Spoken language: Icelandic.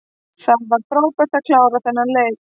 Það var frábært að klára þennan leik.